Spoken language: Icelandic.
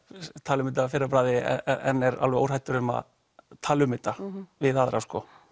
tala um þetta að fyrra bragði en er alveg óhræddur um að tala um þetta við aðra